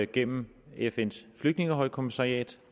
gennem fns flygtningehøjkommissariat